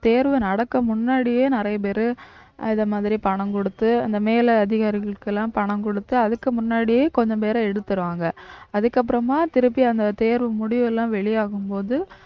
தேர்வு நடக்கும் முன்னாடியே நிறைய பேரு இந்த மாதிரி பணம் கொடுத்து அந்த மேலதிகாரிகளுக்கெல்லாம் பணம் கொடுத்து அதுக்கு முன்னாடியே கொஞ்சம் பேரை எடுத்திருவாங்க அதுக்கப்புறமா திருப்பி அந்த தேர்வு முடிவு எல்லாம் வெளியாகும்போது